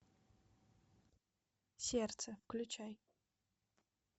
сердце включай